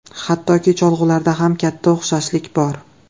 Hattoki cholg‘ularida ham katta o‘xshashlik bor.